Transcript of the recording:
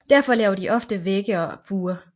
Derfor laver de ofte vægge eller buer